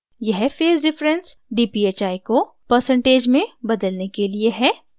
यह phase differencedphi को percentage % में बदलने के लिए है